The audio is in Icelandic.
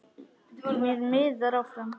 Mér miðar áfram.